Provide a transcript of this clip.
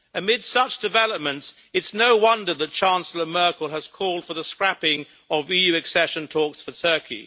Amid such developments, it is no wonder that Chancellor Merkel has called for the scrapping of EU accession talks for Turkey.